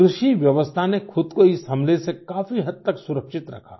कृषिव्यवस्था ने ख़ुद को इस हमले से काफी हद तक सुरक्षित रखा